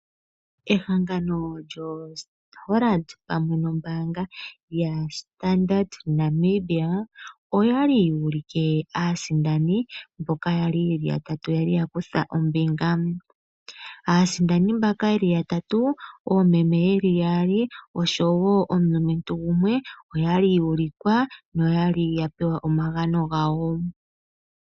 Ehangano lyoHollard pamwe noStandard Bank oya li yu ulike aasindani mboka ya li ye li yatatu ya li ya kutha ombinga. Aasindani mbaka ya tatu oyo oomeme ye li yaali noshowo omulumentu gumwe oya li yu ulikwa noya li ya pewa omagano gawo.